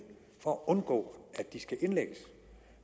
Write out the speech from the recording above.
for at undgå at de skal indlægges